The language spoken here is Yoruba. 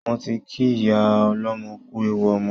Mo ti kí ìyá ọlọ́mọ kú ewu ọmọ